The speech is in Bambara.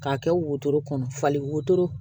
K'a kɛ wotoro kɔnɔ falen wotoro